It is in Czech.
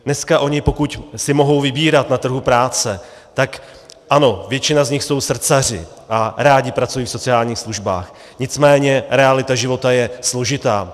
Dneska oni, pokud si mohou vybírat na trhu práce, tak ano, většina z nich jsou srdcaři a rádi pracují v sociálních službách, nicméně realita života je složitá.